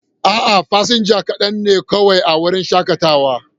A'a, fasinja kaɗan ne kawai a wurin shakatawa.